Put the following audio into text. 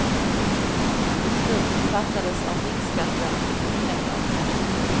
Beslutet fattades av riksskatteverket på fredagen.